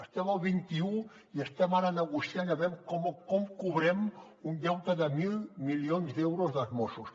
estem al vint un i estem ara negociant aviam com cobrem un deute de mil milions d’euros dels mossos